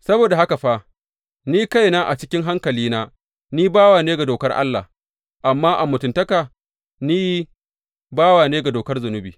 Saboda haka fa, ni kaina a cikin hankalina, ni bawa ne ga dokar Allah, amma a mutuntaka, ni bawa ne ga dokar zunubi.